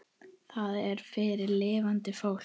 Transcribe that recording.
Það er fyrir lifandi fólk.